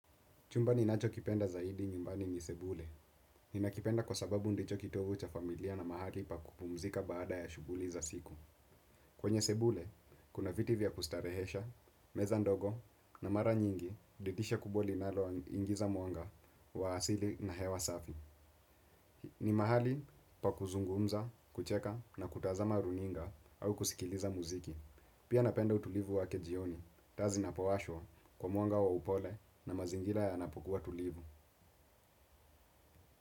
Chumba ni nacho kipenda zaidi nyumbani ni sebule. Ninakipenda kwa sababu ndicho kitovu cha familia na mahali pa kupumzika baada ya shughuli za siku. Kwenye sebule, kuna viti vya kustarehesha, meza ndogo na mara nyingi, didisha kubwa linalo ingiza mwanga, wa asili na hewa safi. Ni mahali pa kuzungumza, kucheka na kutazama runinga, au kusikiliza muziki. Pia napenda utulivu wake jioni. Taa zinapowashwa, kwa mwanga wa upole, na mazingira yanapokua tulivu.